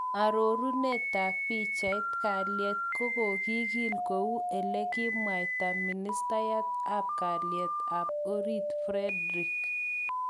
Arorunet tab pichait, kalyet kogokikil kou elekikamwaita Ministayat ab kalyet ab orit Fredrick.